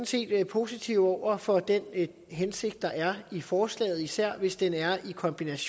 set er positive over for den hensigt der er i forslaget især hvis det kombineres